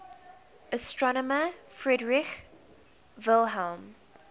astronomer friedrich wilhelm